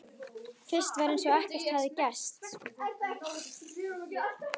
Fyrst var eins og ekkert hefði gerst.